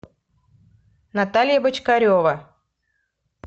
наталья бочкарева